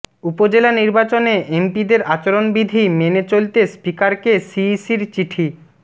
উপজেলা নির্বাচনে এমপিদের আচরণবিধি মেনে চলতে স্পিকারকে সিইসির চিঠি